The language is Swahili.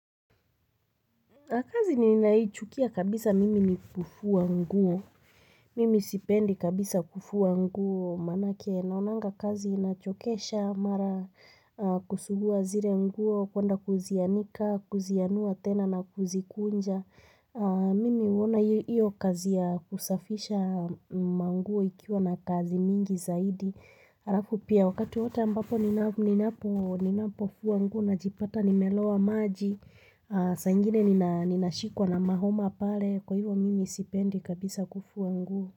Kazi ninaichukia kabisa mimi ni kufua nguo, mimi sipendi kabisa kufua nguo, maanake naonanga kazi inachokesha, mara kusugua zire nguo, kwenda kuzianika, kuzianua tena na kuzikunja. Mimi huona iyo iyo kazi ya kusafisha manguo ikiwa na kazi mingi zaidi Harafu pia wakati wote ambapo nina ninapo ninapo fuwa nguo na jipata nimeloa maji saa ingine nina ninashikwa na mahoma pale kwa hivo mimi sipendi kabisa kufua nguo.